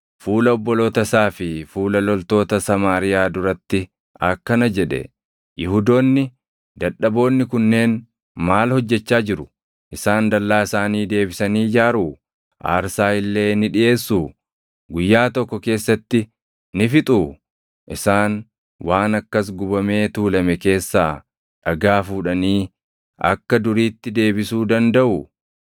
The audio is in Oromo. fuula obboloota isaa fi fuula loltoota Samaariyaa duratti akkana jedhe; “Yihuudoonni dadhaboonni kunneen maal hojjechaa jiru? Isaan dallaa isaanii deebisanii ijaaruu? Aarsaa illee ni dhiʼeessuu? Guyyaa tokko keessatti ni fixuu? Isaan waan akkas gubamee tuulame keessaa dhagaa fuudhanii akka duriitti deebisuu dandaʼuu?”